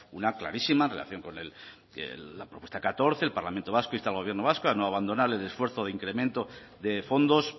una clarísima relación con la propuesta catorce el parlamento vasco insta al gobierno vasco a no abandonar el esfuerzo de incremento de fondos